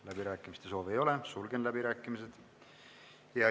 Läbirääkimiste soove ei ole, sulgen läbirääkimised.